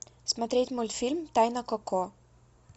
смотреть мультфильм тайна коко